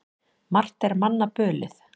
Margt er manna bölið.